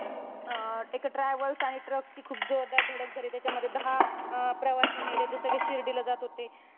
अं एका travels आणि truck ची खूप जोरदार धडक झाली. त्याच्यामध्ये दहा अं प्रवासी मेले. ते सगळे शिर्डी ला जात होते.